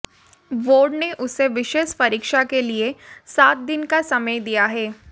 board ने उसे विशेष परीक्षा के लिए सात दिन का समय दिया है